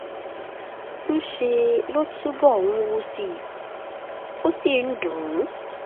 ńṣe ló túbọ̀ ń wú sí i ó ó sì ń dùn ún